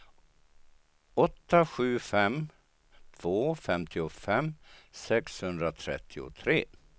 åtta sju fem två femtiofem sexhundratrettiotre